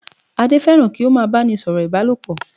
Adé fẹ́ràn kí ó má a báni sọ̀rọ̀ Ìbálòpọ̀